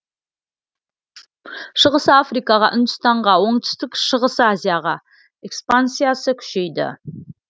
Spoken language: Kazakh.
шығыс африкаға үндістанға оңтүстік шығыс азияға экспансиясы күшейді